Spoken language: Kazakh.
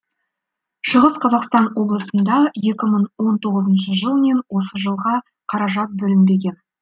шығыс қазақстан облысында екі мың он тоғызыншы жыл мен осы жылға қаражат бөлінбеген